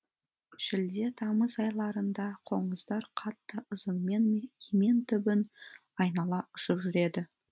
шілде тамыз айларында қоңыздар қатты ызыңмен емен түбін айнала ұшып жүреді